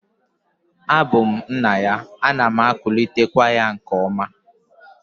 A bu m nna ya, ana m akulitekwa ya nke oma